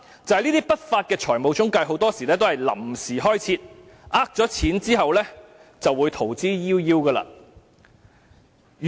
第三，不法的財務中介很多時候是臨時開設，騙得金錢後便會逃之夭夭。